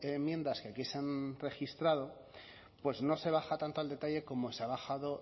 enmiendas que aquí se han registrado pues no se baja tanto al detalle como se ha bajado